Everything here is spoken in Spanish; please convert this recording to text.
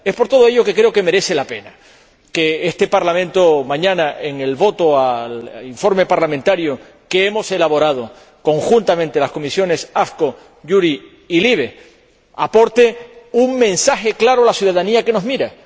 Es por todo ello que creo que merece la pena que este Parlamento, mañana, en la votación del informe parlamentario que hemos elaborado conjuntamente las Comisiones AFCO, JURI y LIBE, aporte un mensaje claro a la ciudadanía que nos mira.